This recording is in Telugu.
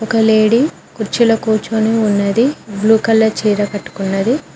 లేడీ కుర్చీలో కూర్చుని ఉన్నది బ్లూ కలర్ చీర కట్టుకున్నది.